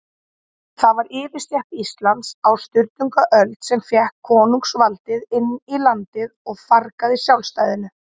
Það var yfirstétt Íslands á Sturlungaöld, sem fékk konungsvaldið inn í landið og fargaði sjálfstæðinu.